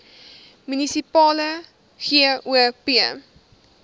munisipale gop